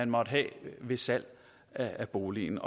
måtte have ved salg af boligen